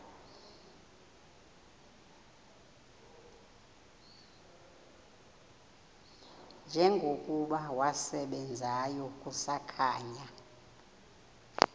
njengokuba wasebenzayo kusakhanya